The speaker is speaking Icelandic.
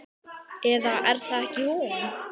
Eða er það ekki hún?